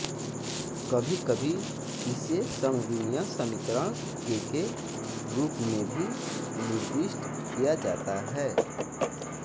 कभी कभी इसे समविमीय समीकरण के के रूप में भी निर्दिष्ट किया जाता है